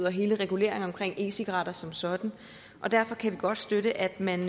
og hele reguleringen omkring e cigaretter som sådan derfor kan vi godt støtte at man